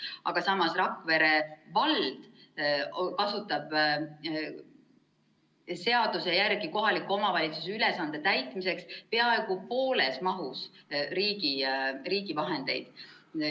Aga samas Rakvere vald kasutab seaduse järgi kohaliku omavalitsuse ülesande täitmiseks peaaegu pooles mahus riigi vahendeid.